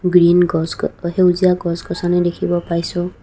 Green গছ গ সেউজীয়া গছ গছনি দেখিব পাইছোঁ।